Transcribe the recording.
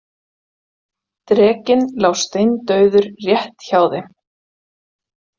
Drekinn lá steindauður rétt hjá þeim.